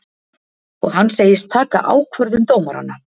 Og hann segist taka ákvörðun dómaranna